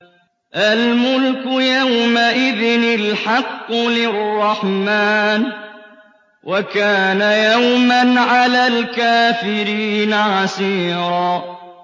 الْمُلْكُ يَوْمَئِذٍ الْحَقُّ لِلرَّحْمَٰنِ ۚ وَكَانَ يَوْمًا عَلَى الْكَافِرِينَ عَسِيرًا